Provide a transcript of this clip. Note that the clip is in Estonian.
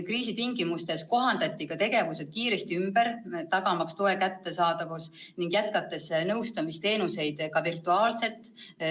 Kriisi tingimustes kohandati tegevused kiiresti ümber, tagamaks toe kättesaadavus ning jätkates nõustamisteenuseid ka virtuaalselt.